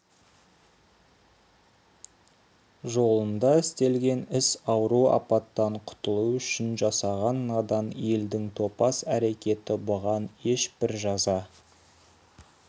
жолында істелген іс ауру апаттан құтылу үшін жасаған надан елдің топас әрекеті бұған ешбір жаза